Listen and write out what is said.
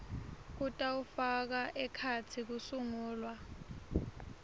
kutawufaka ekhatsi kusungulwa